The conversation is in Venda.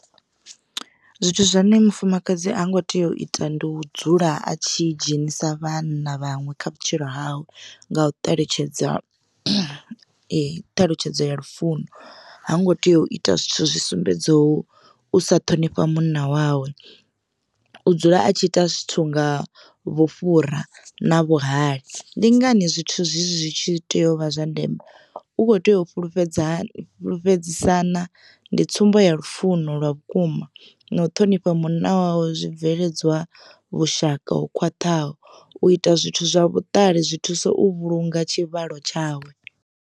Zwithu zwine mufumakadzi ha ngo tea u ita ndi u dzula a tshi dzhenisa vhanna vhaṅwe kha vhutshilo hawe nga u ṱalutshedza ṱhalutshedzo ya lufuno, ha ngo tea u ita zwithu zwi sumbedzaho u sa ṱhonifha munna wawe. U dzula a tshi ita zwithu nga vhufhura na vhuhali ndi ngani zwithu zwezwi tshi tea u vha zwa ndeme u kho tea u fhulufhedza fhulufhedzisana ndi tsumbo ya lufuno lwa vhukuma na u ṱhonifha munna wawe zwibveledzwa vhushaka ho khwaṱhaho u ita zwithu zwa vhuṱali zwi thusa u vhulunga tshivhalo tshawe.